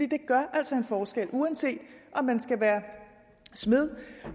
det gør altså en forskel uanset om man skal være smed